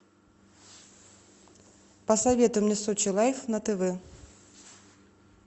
посоветуй мне сочи лайф на тв